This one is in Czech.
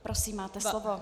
Prosím máte slovo.